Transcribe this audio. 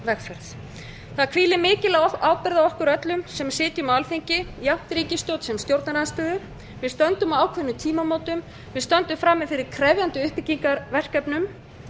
vegferð það hvílir mikil ábyrgð á okkur öllum sem sitjum á alþingi jafnt ríkisstjórn sem stjórnarandstöðu við stöndum á ákveðnum tímamótum við stöndum frammi fyrir krefjandi uppbyggingarverkefnum